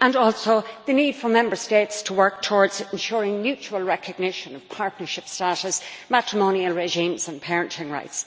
and also the need for Member States to work towards ensuring mutual recognition of partnership status, matrimonial regimes and parenting rights.